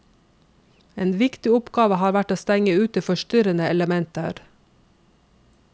En viktig oppgave har vært å stenge ute forstyrrende elementer.